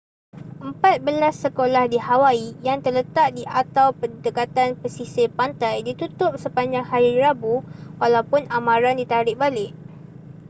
empat belas sekolah di hawaii yang terletak di atau berdekatan pesisir pantai ditutup sepanjang hari rabu walaupun amaran ditarik balik